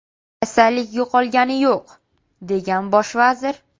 Kasallik yo‘qolgani yo‘q”, degan bosh vazir.